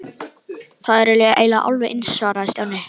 Þær eru eiginlega alveg eins svaraði Stjáni.